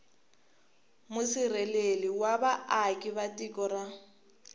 musirheleli wa vaaka tiko a